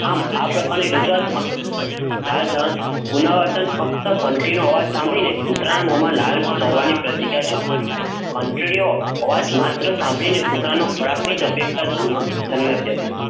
આમ આ પ્રકારની રજૂઆતમાં, લાલ પુનઃ, ફ્કત ગન્ટીનો અવાજ સાંભળી ને, કૂતરાના મોહ માં લાલ જાળવણી પ્રક્રિયા, જાખ મલી ઘંટી નો આવાજ માત્ર, સાંભળીને કૂતરાના ખોરાકના અપેક્ષા જન્મ ટી હતી,